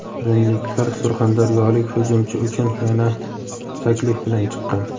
rimliklar surxondaryolik hujumchi uchun yana taklif bilan chiqqan.